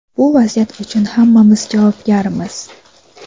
bu vaziyat uchun hammamiz javobgarmiz.